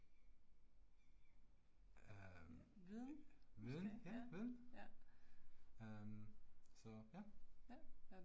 Øh viden ja, viden. Øh så ja